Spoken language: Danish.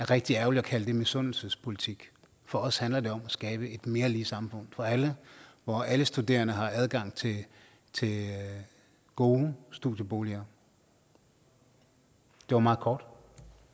rigtig ærgerligt at kalde misundelsespolitik for os handler det om at skabe et mere lige samfund for alle hvor alle studerende har adgang til gode studieboliger det var meget kort